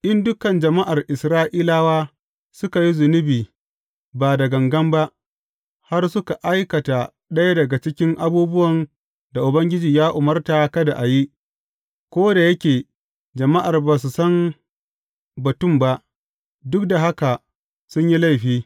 In dukan jama’ar Isra’ilawa suka yi zunubi ba da gangan ba, har suka aikata ɗaya daga cikin abubuwan da Ubangiji ya umarta kada a yi, ko da yake jama’ar ba su san batun ba, duk da haka sun yi laifi.